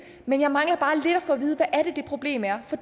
men jeg mangler bare lidt at få at vide hvad det er det problem er for